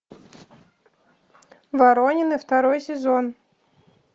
воронины второй сезон